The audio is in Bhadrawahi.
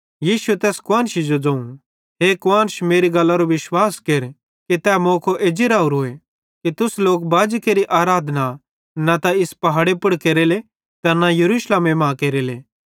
यीशुए तैस कुआन्शी जो ज़ोवं हे कुआन्श मेरी गल्लरो विश्वास केर कि तै मौको भी एज्जी राहोरोए कि तुस लोक बाजी केरि आराधना न त इस पहाड़े पुड़ केरेले ते न यरूशलेमे मां केरेले